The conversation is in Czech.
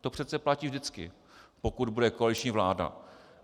To přece platí vždycky, pokud bude koaliční vláda.